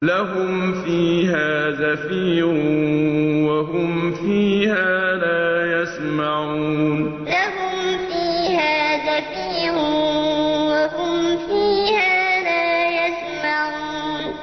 لَهُمْ فِيهَا زَفِيرٌ وَهُمْ فِيهَا لَا يَسْمَعُونَ لَهُمْ فِيهَا زَفِيرٌ وَهُمْ فِيهَا لَا يَسْمَعُونَ